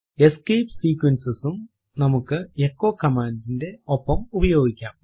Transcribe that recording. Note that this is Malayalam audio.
എസ്കേപ്പ് sequences സും നമ്മുക്ക് എച്ചോ command ന്റെ ഒപ്പം ഉപയോഗിക്കാം